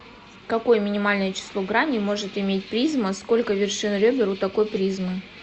какое минимальное число граней может иметь призма сколько вершин ребер у такой призмы